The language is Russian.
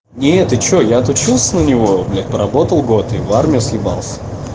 нет ты что я отучился на него я поработал год и в армию съебался